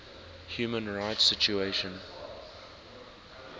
human rights situation